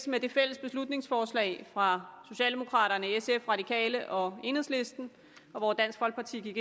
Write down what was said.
med det fælles beslutningsforslag fra socialdemokraterne sf radikale og enhedslisten hvor dansk folkeparti